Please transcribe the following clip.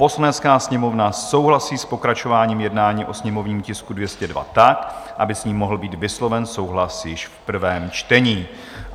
Poslanecká sněmovna souhlasí s pokračováním jednání o sněmovním tisku 202 tak, aby s ním mohl být vysloven souhlas již v prvém čtení.